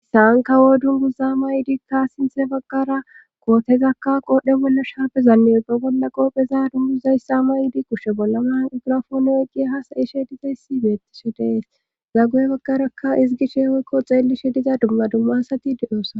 Issaankawo dunguza maydikka sinthe baggara kootezakka qoodhdhe bolla shaapezannedobolla qoopheza dunguzayssa mayidi kushe bolla man igrafoono eqiye ha sa7ishe dizayssi beettishe dees zaggu7e baggarakka isi gishe woykko xeellishe diza dumma dumma hasati deyoosa